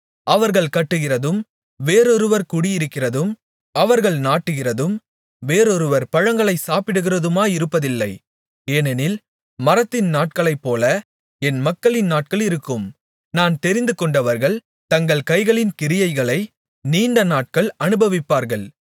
அவர்கள் கட்டுகிறதும் வேறொருவர் குடியிருக்கிறதும் அவர்கள் நாட்டுகிறதும் வேறொருவர் பழங்களைச் சாப்பிடுகிறதுமாயிருப்பதில்லை ஏனெனில் மரத்தின் நாட்களைப்போல என் மக்களின் நாட்களிருக்கும் நான் தெரிந்துகொண்டவர்கள் தங்கள் கைகளின் கிரியைகளை நீண்டநாட்கள் அனுபவிப்பார்கள்